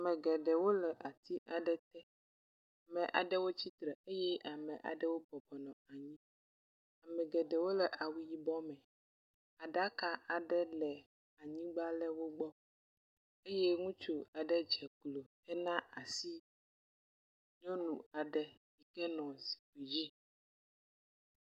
Ame geɖewo le ati aɖe te. Ame aɖewo tsitre eye ame aɖewo bɔbɔnɔ anyi. Ame geɖewo le awu yibɔ me. Aɖaka aɖe le anyigba le wo gbɔ eye ŋutsu aɖe ddze klo hena asi nyɔnu aɖe ke nɔ zikpuidzi.